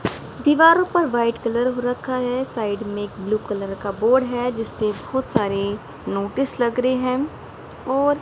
दीवारों पर white colour हो रखा है साइड में एक ब्लू कलर का बोर्ड है जिसपे बहुत सारे नोटिस लग रहे हैं और--